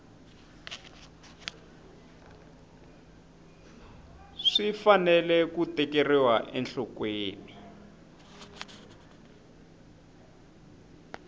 swi fanele ku tekeriwa enhlokweni